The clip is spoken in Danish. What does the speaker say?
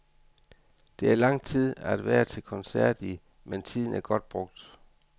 Det er lang tid at være til koncert i, men tiden er godt brugt.